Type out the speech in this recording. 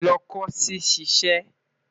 Lọ ko si ṣiṣẹ